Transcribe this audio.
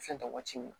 Fɛn tɛ waati min na